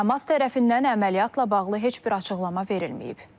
Həmas tərəfindən əməliyyatla bağlı heç bir açıqlama verilməyib.